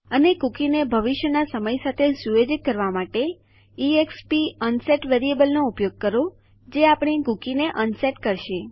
અને કુકી ને ભવિષ્ય ના સમય સાથે સુયોજિત કરવા માટે એક્સપ અનસેટ વેરિયેબલનો ઉપયોગ કરો જે આપણી કુકીને અનસેટ કરશે